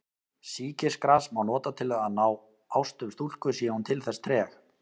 Sýkisgras má nota til að ná ástum stúlku sé hún til þess treg.